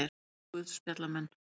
Fjórir guðspjallamenn.